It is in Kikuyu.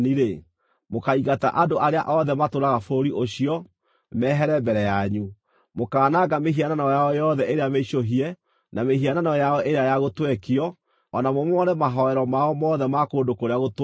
mũkaaingata andũ arĩa othe matũũraga bũrũri ũcio, mehere mbere yanyu. Mũkaananga mĩhianano yao yothe ĩrĩa mĩicũhie, na mĩhianano yao ĩrĩa ya gũtwekio, o na mũmomore mahooero mao mothe ma kũndũ kũrĩa gũtũũgĩru.